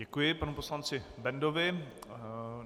Děkuji panu poslanci Bendovi.